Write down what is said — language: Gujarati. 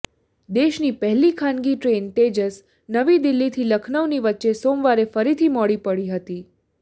દેશની પહેલી ખાનગી ટ્રેન તેજસ નવી દિલ્હીથી લખનઉની વચ્ચે સોમવારે ફરીથી મોડી પડી હતી